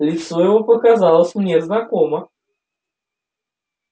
лицо его показалось мне знакомо